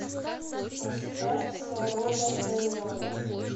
поставь саро варданяна